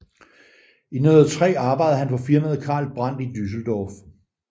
I 1903 arbejdede han for firmaet Carl Brandt i Düsseldorf